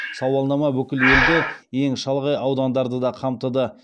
сауалнама бүкіл елді ең шалғай аудандарды да қамтыды